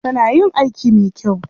Kana yin aiki mai kyau.